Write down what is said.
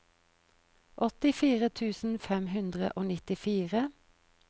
åttifire tusen fem hundre og nittifire